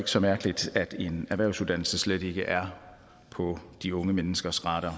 så mærkeligt at en erhvervsuddannelse slet ikke er på de unge menneskers radar